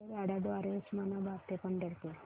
रेल्वेगाड्यां द्वारे उस्मानाबाद ते पंढरपूर